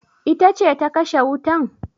Ita ce ta kashe wutan?